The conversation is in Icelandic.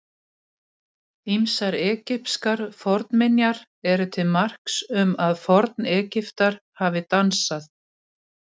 Ýmsar egypskar fornminjar eru til marks um að Forn-Egyptar hafi dansað.